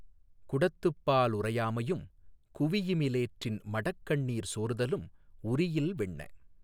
குடத்துப்பா லுறையாமையும் குவியிமி லேற்றின் மடக்கண்ணீீர் சோர்தலும் உறியில் வெண்ணெ